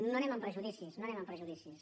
no anem amb prejudicis no anem amb prejudicis